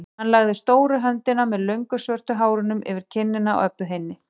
Hann lagði stóru höndina með löngu svörtu hárunum yfir kinnina á Öbbu hinni.